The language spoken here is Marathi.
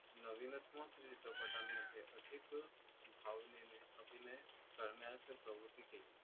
नवीनत्मक चित्रपटामध्ये अधिक भावनेने अभिनय करण्यास प्रवृत्ती केली